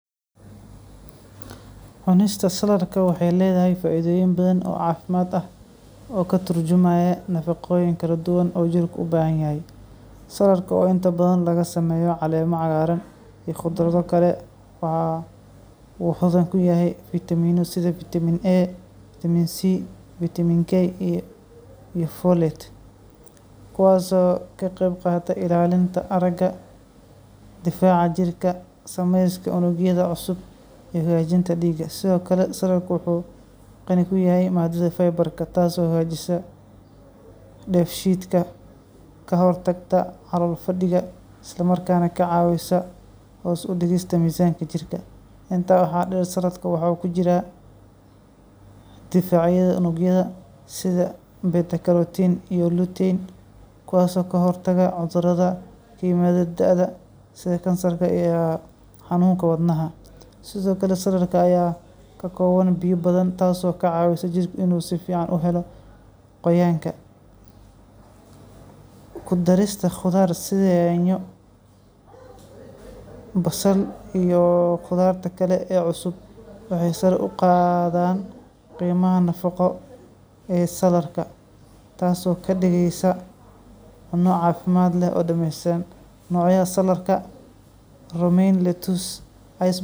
Cunista salaadka waxey leedahy faaidooyin badan oo caafimad ah oo katurjumaya nafaqooyin kaladuwan oo katurjumaya nafaqooyin kaladuwan oo jirka ubaahanyahy. Salaadka oo inta badhan lagasameeya caleema cagaarana iyo qudradho kale wuxa uu xodhan kuyahy fitamina sidha vitamin A, vitamin C, vitamin K iyo folate. Kuwaas oo kaqeyb qaata ilaalinta araga difaaca jirka sameska unugyadha cusub iyo hagaajinta diiga. Sidhookale salaadka wuxu qani kuyahy maadadha fiberka taas oo hagaajisa deef shiidka kahortagta calool fadhiga islamarkaas neh kacaawisa hoos udigista misaanka jirka. Intaad waxaa deer salaadka wuxu kujiraan difaacyadha unugyadha sidha betaclotin iyo lutein kuwaas oo kahortaga cudhuradha kaimadha daada sidha kansarka iyo xanuunka wadnaha. Sidhookale salaadka ayaa kakooban biyo badhan taasi oo kacaawisa jirka inuu sifican uhelo qoyaanka. Kudarista qudhaar sidha yaanyo basal iyo qudhaarta kale oo cusub waxey sare uqadaan qeemaha nafaqo ee salaadka taas oo kadigeysa cuno caafimad leh oo dameysan. Noocyaha salaadka romaine lettuce.